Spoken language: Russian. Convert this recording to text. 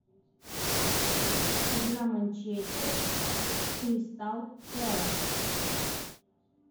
игра манчестер с кристал пэлас